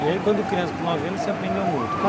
E aí quando criança, com nove anos, você aprendeu muito.